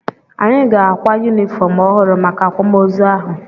Anyị ga-akwa yunifọm ọhụrụ maka akwamoozu ahụ.